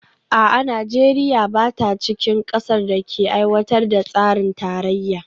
A'a, Najeriya ba ta cikin kasar da ake aiwatar da tsarin tarayya?